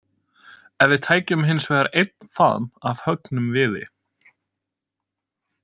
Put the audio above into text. Ef við tækjum hinsvegar einn faðm af höggnum viði.